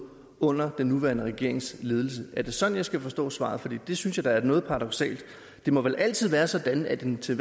under den nuværende regerings ledelse er det sådan jeg skal forstå svaret for det synes jeg da er noget paradoksalt det må vel altid være sådan at den til